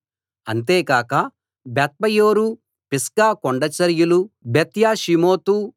అంతేకాక Beth Peor Pisgah కొండచరియలు బెత్యేషీమోతు